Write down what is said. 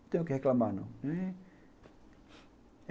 Não tenho o que reclamar, não, né.